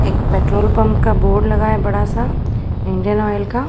एक petrol pump का board लगा है बड़ा सा इंडियन ऑयल का।